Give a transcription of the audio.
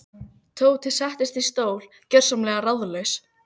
Tóti settist í stól, gjörsamlega ráðalaus.